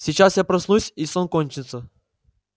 сейчас я проснусь и сон кончится